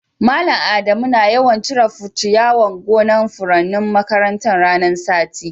Mallam Adamu na yawan cire'n ciyawan gonan' furannin makarantan ranan sati.